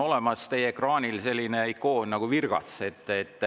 Teie ekraanil on selline ikoon nagu "Virgats".